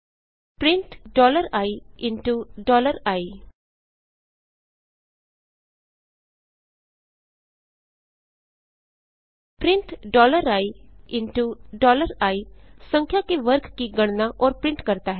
print ii print ii संख्या के वर्ग की गणना और प्रिंट करता है